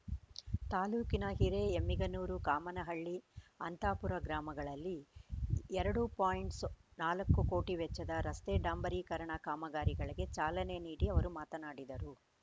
ತಾಲೂಕಿನ ಹಿರೆ ಎಮ್ಮಿಗನೂರು ಕಾಮನಹಳ್ಳಿ ಅಂತಾಪುರ ಗ್ರಾಮಗಳಲ್ಲಿ ಎರಡು ಪಾಯಿಂಟ್ ಸೊ ನಾಲ್ಕು ಕೋಟಿ ವೆಚ್ಚದ ರಸ್ತೆ ಡಾಂಬರೀಕರಣ ಕಾಮಗಾರಿಗಳಿಗೆ ಚಾಲನೆ ನೀಡಿ ಅವರು ಮಾತನಾಡಿದರು